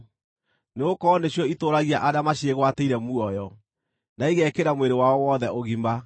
nĩgũkorwo nĩcio itũũragia arĩa maciĩgwatĩire muoyo, na igekĩra mwĩrĩ wao wothe ũgima.